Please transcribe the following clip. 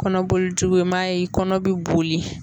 Kɔnɔboli jugu i m'a ye, i kɔnɔ bɛ boli.